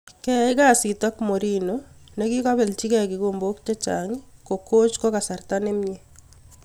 keyai kasiiit ak mourinho ne kigopeljigee kigombog chechang ko koch ko kasarta nemie